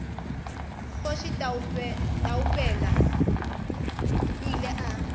kgoši taupela o ile a